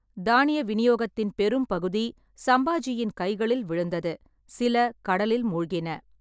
தானிய விநியோகத்தின் பெரும்பகுதி சம்பாஜியின் கைகளில் விழுந்தது, சில கடலில் மூழ்கின.